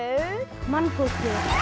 mannfólkið